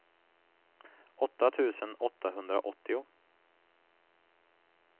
åtta tusen åttahundraåttio